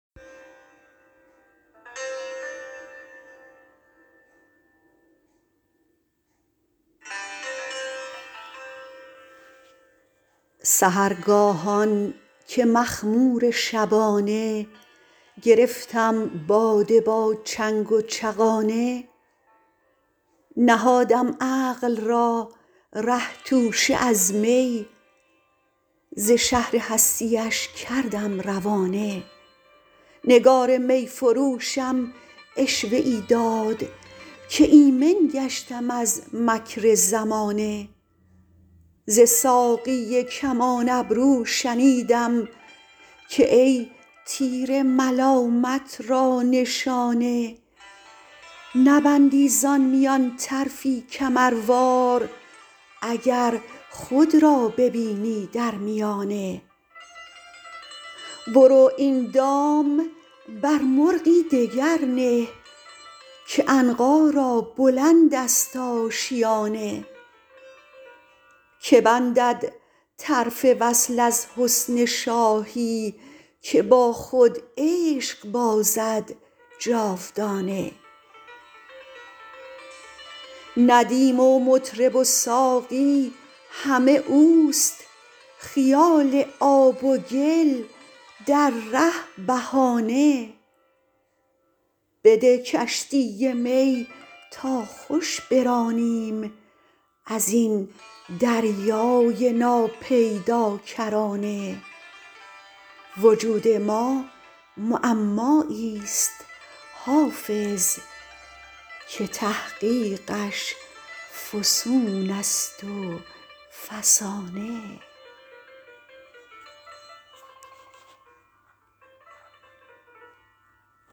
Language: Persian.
سحرگاهان که مخمور شبانه گرفتم باده با چنگ و چغانه نهادم عقل را ره توشه از می ز شهر هستی اش کردم روانه نگار می فروشم عشوه ای داد که ایمن گشتم از مکر زمانه ز ساقی کمان ابرو شنیدم که ای تیر ملامت را نشانه نبندی زان میان طرفی کمروار اگر خود را ببینی در میانه برو این دام بر مرغی دگر نه که عنقا را بلند است آشیانه که بندد طرف وصل از حسن شاهی که با خود عشق بازد جاودانه ندیم و مطرب و ساقی همه اوست خیال آب و گل در ره بهانه بده کشتی می تا خوش برانیم از این دریای ناپیداکرانه وجود ما معمایی ست حافظ که تحقیقش فسون است و فسانه